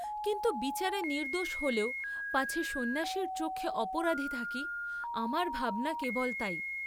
কিন্তু বিচারে নির্দ্দোষ হলেও পাছে সন্ন্যাসীর চক্ষে অপরাধী থাকি, আমার ভাবনা কেবল তাই।